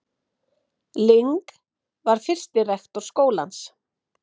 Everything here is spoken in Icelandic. Ling var fyrsti rektor skólans.